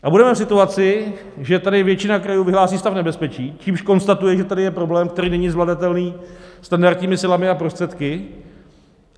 A budeme v situaci, že tady většina krajů vyhlásí stav nebezpečí, čímž konstatuje, že tady je problém, který není zvladatelný standardními silami a prostředky.